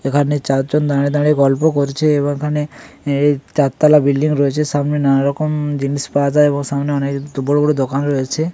এখানে চারজন দাঁড়িয়ে দাঁড়িয়ে গল্প করছে এবার এখানে চার তলা বিল্ডিং রয়েছে সামনে নানা রকম জিনিস পাওয়া যায় সামনে অনেক বড় বড় দোকান রয়েছে।